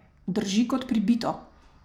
Drži kot pribito!